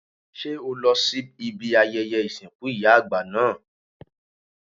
Ṣé o lọ sí ibi ayẹyẹ ìsìnkú ìyá àgbà náà?